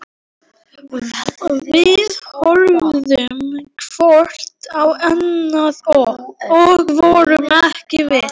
Við horfðum hvort á annað- og vorum ekki viss.